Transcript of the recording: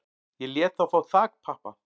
Ég lét þá fá þakpappa